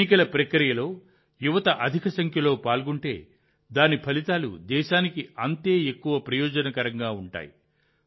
ఎన్నికల ప్రక్రియలో యువత అధిక సంఖ్యలో పాల్గొంటే దాని ఫలితాలు దేశానికి అంతే ఎక్కువ ప్రయోజనకరంగా ఉంటాయి